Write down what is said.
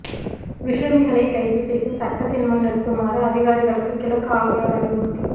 விஷமிகளைக் கைது செய்து சட்டத்தின் முன் நிறுத்துமாறு அதிகாரிகளுக்கு கிழக்கு ஆளுநர் அறிவுறுத்தல்